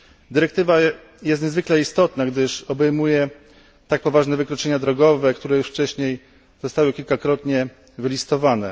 Dyrektywa jest niezwykle istotna, gdyż obejmuje tak poważne wykroczenia drogowe, które już wcześniej zostały kilkakrotnie wymienione.